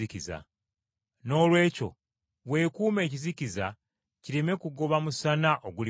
Noolwekyo weekuume ekizikiza kireme kugoba musana oguli mu ggwe.